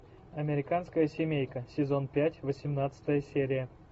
американская семейка сезон пять восемнадцатая серия